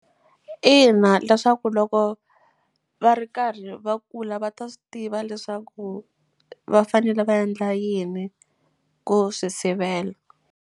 Ina, leswaku loko va ri karhi va kula va ta swi tiva leswaku va fanele va endla yini ku swi sivela.